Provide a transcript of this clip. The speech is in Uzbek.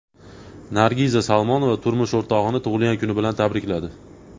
Nargiza Salmonova turmush o‘rtog‘ini tug‘ilgan kuni bilan tabrikladi.